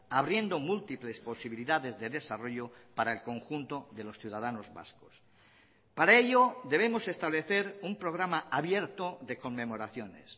abriendo múltiples posibilidades de desarrollo para el conjunto de los ciudadanos vascos para ello debemos establecer un programa abierto de conmemoraciones